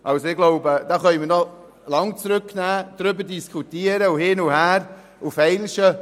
Ich glaube, wir können noch lange in die Kommission zurückweisen, darüber diskutieren und feilschen.